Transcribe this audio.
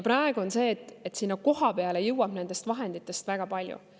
Praegu on nii, et sinna kohapeale ei jõua nendest vahenditest väga palju.